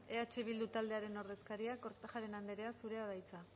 eh bildu taldearen ordezkaria kortajarena andrea zurea da hitza